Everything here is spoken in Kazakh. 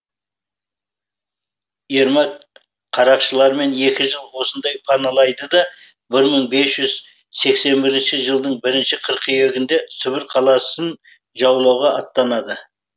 ермак қарақшыларымен екі жыл осында паналайды да бір мың бес жүз сексен бірінші жылдың бірінші қыркүйегінде сібір қаласын жаулауға аттанады